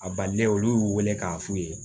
A balilen olu y'u wele k'a f'u ye